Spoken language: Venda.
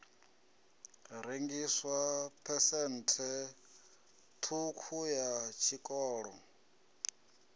rengiswa phesenthe ṱhukhu ya tshiṱoko